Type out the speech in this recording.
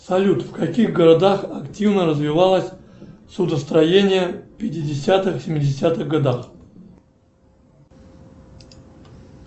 салют в каких городах активно развивалось судостроение в пятидесятых семидесятых годах